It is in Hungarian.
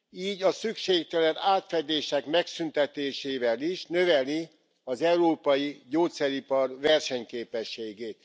Így a szükségtelen átfedések megszüntetésével is növeli az európai gyógyszeripar versenyképességét.